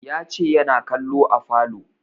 Ya ce yana kallo a falo